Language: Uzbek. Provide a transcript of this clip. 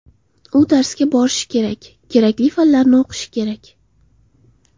U darsga borishi, kerakli fanlarni o‘qishi kerak.